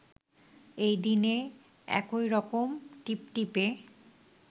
এই দিনে এই রকম টিপটিপে